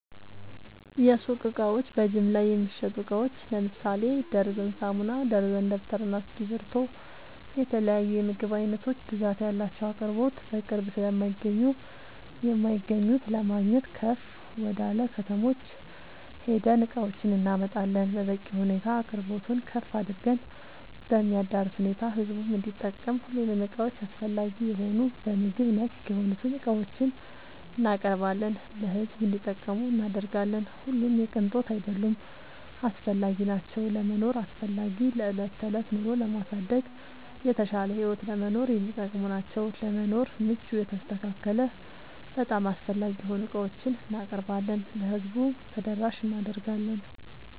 የሱቅ እቃዎች በጅምላ የሚሸጡ እቃዎች ለምሳሌ ደርዘን ሳሙና፣ ደርዘን ደብተር እና እስኪብርቶ የተለያዬ የምግብ አይነቶች ብዛት ያላቸው አቅርቦት በቅርብ ስለማይገኙ የማይገኙት ለማግኘት ከፍ ወደላ ከተሞች ሄደን እቃዎችን እናመጣለን በበቂ ሁኔታ አቅርቦቱን ከፍ አድርገን በሚያዳርስ ሁኔታ ህዝቡም እንዲጠቀም ሁሉንም እቃዎች አስፈላጊ የሆኑ በምግብ ነክ የሆኑትን እቃዎችን እናቀርባለን ለሕዝብ እንዲጠቀሙ እናደርጋለን። ሁሉም የቅንጦት አይደሉም አስፈላጊናቸው ለመኖር አስፈላጊ ለዕለት ተዕለት ኑሮን ለማሳደግ የተሻለ ህይወት ለመኖር የሚጠቅሙ ናቸው። ለመኖር ምቹ የተስተካከለ በጣም አስፈላጊ የሆኑ ዕቃዎችን እናቀርባለን ለህዝቡ ተደራሽ እናደርጋለን።…ተጨማሪ ይመልከቱ